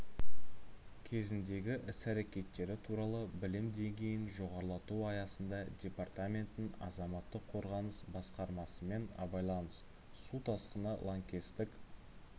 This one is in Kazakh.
кезіндегі іс-әрекеттері туралы білім деңгейін жоғарлату аясында департаменттің азаматтық қорғаныс басқармасымен абайлаңыз су тасқыны лаңкестік